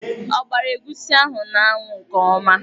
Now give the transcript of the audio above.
Ọ gbara egwusi ahụ n'anwụ nke ọma?